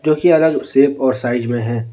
जोकि अलग सेप और साइज में है।